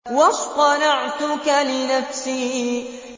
وَاصْطَنَعْتُكَ لِنَفْسِي